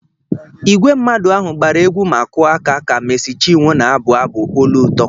Ìgwè mmadụ ahụ gbara egwu ma kụọ aka ka méési chinwo na-abụ abụ olu ụtọ